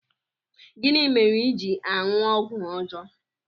Gịnị mere i ji aṅụ ọgwụ ọjọọ?